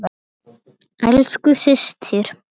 Elsku systir.